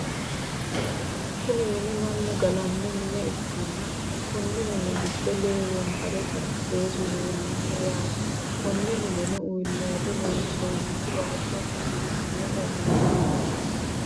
Kuni mini mannu galanno mine ikkanna konni mini gido lee wonbare xarapheezu leellanno yaate konne mineno uullayiido loonsonnihu waajjonna biifano shakiliniiti